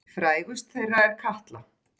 Frægust þeirra er Katla.